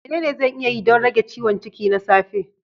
Menene zan iya yi don rage ciwon ciki na safe?